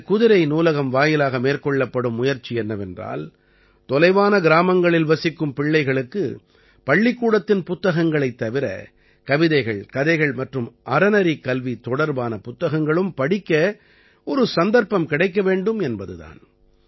இந்தக் குதிரை நூலகம் வாயிலாக மேற்கொள்ளப்படும் முயற்சி என்னவென்றால் தொலைவான கிராமங்களில் வசிக்கும் பிள்ளைகளுக்கு பள்ளிக்கூடத்தின் புத்தகங்களைத் தவிர கவிதைகள் கதைகள் மற்றும் அறநெறிக் கல்வி தொடர்பான புத்தகங்களும் படிக்க ஒரு சந்தர்ப்பம் கிடைக்க வேண்டும் என்பது தான்